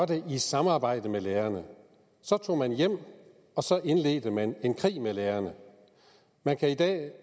det i samarbejde med lærerne så tog man hjem og så indledte man en krig med lærerne man kan